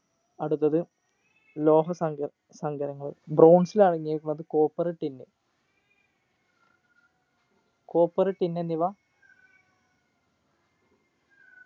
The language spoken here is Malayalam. അടുത്തത് ലോഹസംഘ സംഗരങ്ങൾ bronze ൽ അടങ്ങിയിരിക്കുന്നത് copper tin copper tin എന്നിവ